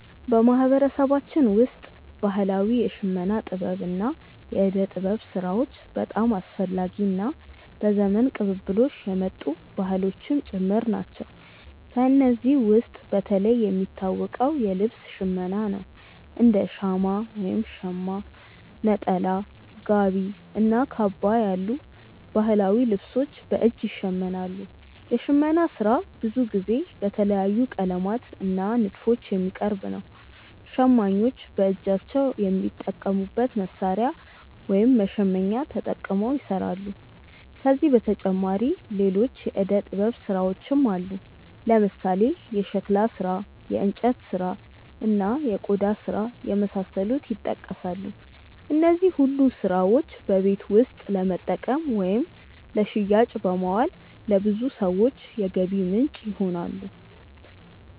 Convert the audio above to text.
በማህበረሰባችን ውስጥ ባህላዊ የሽመና ጥበብ እና የእደ ጥበብ ስራዎች በጣም አስፈላጊ እና በዘመን ቅብብሎሽ የመጡ ባህሎችም ጭምር ናቸው። ከእነዚህ ውስጥ በተለይ የሚታወቀው የልብስ ሽመና ነው፤ እንደ ሻማ (ሸማ)፣ ነጠላ፣ ጋቢ እና ካባ ያሉ ባህላዊ ልብሶች በእጅ ይሸመናሉ። የሽመና ስራ ብዙ ጊዜ በተለያዩ ቀለማት እና ንድፎች የሚቀርብ ነው። ሸማኞች በእጃቸው በሚጠቀሙት መሣሪያ (መሸመኛ)ተጠቅመው ይሰራሉ። ከዚህ በተጨማሪ ሌሎች የእደ ጥበብ ስራዎችም አሉ፦ ለምሳሌ የሸክላ ስራ፣ የእንጨት ስራ፣ እና የቆዳ ስራ የመሳሰሉት ይጠቀሳሉ። እነዚህ ሁሉ ስራዎች በቤት ውስጥ ለመጠቀም ወይም ለሽያጭ በማዋል ለብዙ ሰዎች የገቢ ምንጭ ይሆናሉ።